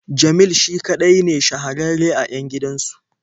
Jamil shi kaɗai ne shahararre a 'yan gidansu.